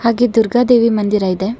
ಹಾಗೆ ದುರ್ಗ ದೇವಿ ಮಂದಿರ ಇದೆ.